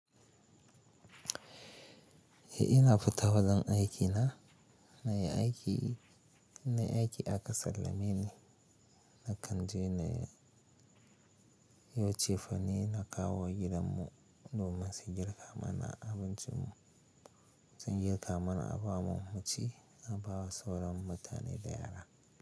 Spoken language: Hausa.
Eh ina futa wajan aikina. Nayi aiki na yi aiki aka sallame ni, na kan je na yi cefane, na kawo wa gidan mu domin su girka mana abincin mu, sun girka mana abamu abun ci, a ba wa sauran mutane da yara.